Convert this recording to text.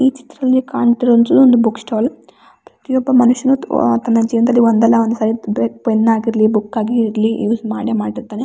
ಈ ಚಿತ್ರದಲ್ಲಿ ಕಾಣ್ತಿರುವುದು ಒಂದು ಬುಕ್ಕ್ ಸ್ಟಾಲ್ ಪ್ರತಿಯೊಬ್ಬ ಮನುಷ್ಯನು ತು ಆತನ ಜೀವನ್ದಲ್ಲಿ ಒಂದಲ್ಲ ಒಂದುಸಲಿ ಬ್ರೆ ಪೆನ್ನ್ ಆಗಿರ್ಲಿ ಬುಕ್ಕ್ ಆಗಿರ್ಲಿ ಯೂಸ್ ಮಾಡೆ ಮಾಡಿರ್ತಾನೆ.